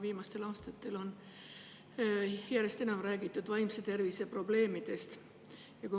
Viimastel aastatel on järjest enam räägitud vaimse tervise probleemidest.